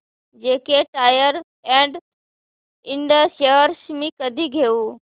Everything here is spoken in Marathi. JK Tyre and Ind shares मी कधी घेऊ